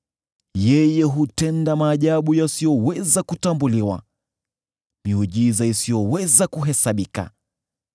Yeye hutenda maajabu yasiyoweza kutambuliwa, miujiza isiyoweza kuhesabika.